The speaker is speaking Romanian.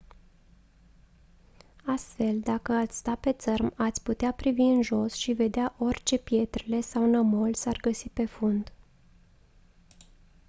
astfel dacă ați sta pe țărm ați putea privi în jos și vedea orice pietrele sau nămol s-ar găsi pe fund